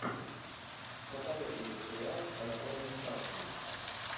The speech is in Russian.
посоветуй мне сериал анатомия страсти